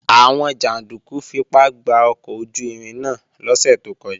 Àwọn jàndúkú fipá gba ọkọ̀ ojú-irin náà lọ́sẹ̀ tó kọjá